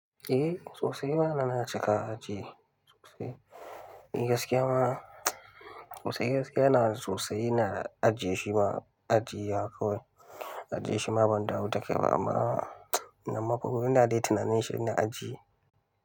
Eh, sosai ma na cika aji sosai. Ni gaskiya ma sosai gaskiya na sosai ina aji shima aji ya koyi. Aji shima ban da wuta kyawa amma ina mafi gudu, ina dai tunanin shine aji.